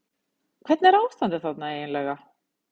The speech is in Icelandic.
Hvernig er ástandið þarna eiginlega?